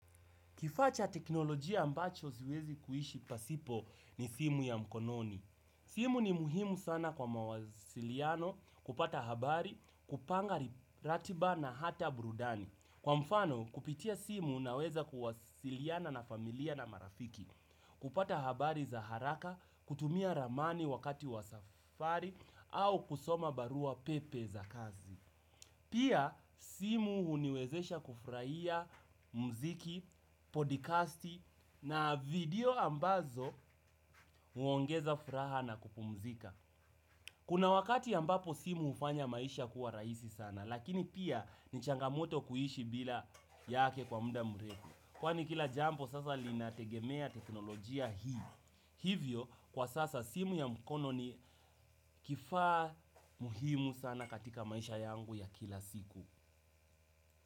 Kifaa cha teknolojia ambacho siwezi kuishi pasipo ni simu ya mkononi. Simu ni muhimu sana kwa mawasiliano kupata habari, kupanga ratiba na hata burudani. Kwa mfano kupitia simu unaweza kuwasiliana na familia na marafiki, kupata habari za haraka, kutumia ramani wakati wa safari au kusoma barua pepe za kazi. Pia simu huniwezesha kufurahia mziki, podikasti na video ambazo huongeza furaha na kupumzika. Kuna wakati ambapo simu ufanya maisha kuwa raisi sana, lakini pia ni changamoto kuishi bila yake kwa muda mrefu. Kwani kila jampo sasa linategemea teknolojia hii, hivyo kwa sasa simu ya mkono ni kifaa muhimu sana katika maisha yangu ya kila siku.